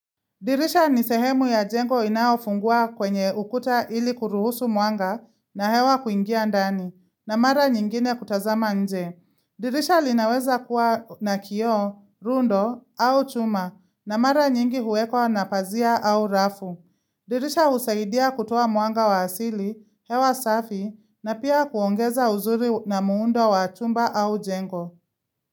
Dirisha ni sehemu ya jengo inaofungua kwenye ukuta ili kuruhusu mwanga na hewa kuingia ndani, na mara nyingine kutazama nje. Dirisha linaweza kuwa na kioo, rundo au chuma, na mara nyingi huwekwa na pazia au rafu. Dirisha husaidia kutoa mwanga wa asili, hewa safi, na pia kuongeza uzuri na muundo wa chumba au jengo.